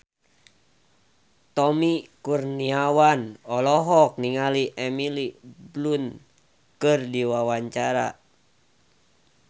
Tommy Kurniawan olohok ningali Emily Blunt keur diwawancara